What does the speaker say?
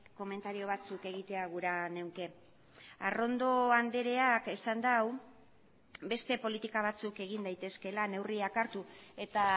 komentario batzuk egitea gura nuke arrondo andreak esan du beste politika batzuk egin daitezkeela neurriak hartu eta